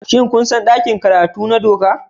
Shin kun san ɗakin karatu na doka?